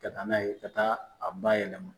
Ka taa n'a ye ka taa a bayɛlɛma